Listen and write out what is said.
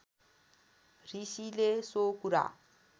ऋषिले सो कुरा